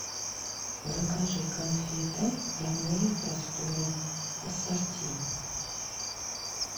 закажи конфеты родные просторы ассорти